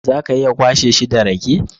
Za ka iya kwashe shi da rake?